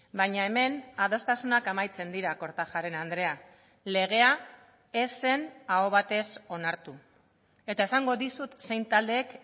baina hemen adostasunak amaitzen dira kortajarena andrea legea ez zen aho batez onartu eta esango dizut zein taldeek